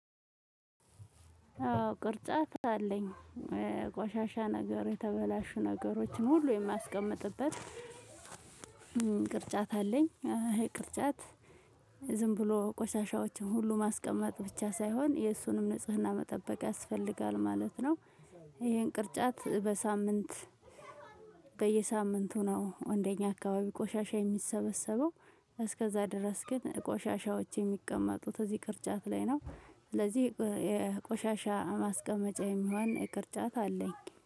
አዎ ቅርጫት አለኝ ቆሻሻ ነገር የተበላሹ ነገሮችን ሁሉ የሚያስቀምጥበት። ቅርጫት አለኝ ይሄ ቅርጫት። ዝም ብሎ ቆሻሻዎችን ሁሉ ማስቀመጥ ብቻ ሳይሆን የእሱንም ንጽህና መጠበቅ ያስፈልጋል ማለት ነው። ይሄን ቅርጫት በሳምንት በየሳምንቱ ነው እንደኛ አካባቢ ቆሻሻ የሚሰበሰበው። እስከዛ ድረስ ግን ቆሻሻዎች የሚቀመጡት እዚህ ቅርጫት ላይ ነው። ስለዚህ የቆሻሻ ማስቀመጫ የሚሆን ቅርጫት አለኝ